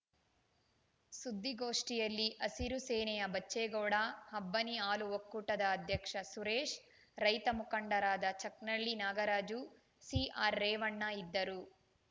ಸುದ್ದಿಗೋಷ್ಠಿಯಲ್ಲಿ ಹಸಿರು ಸೇನೆಯ ಬಚ್ಚೇಗೌಡ ಅಬ್ಬನಿ ಹಾಲು ಒಕ್ಕೂಟದ ಅಧ್ಯಕ್ಷ ಸುರೇಶ್‌ ರೈತ ಮುಖಂಡರಾದ ಚಕ್ನಳ್ಳಿ ನಾಗರಾಜು ಸಿಆರ್‌ರೇವಣ್ಣ ಇದ್ದರು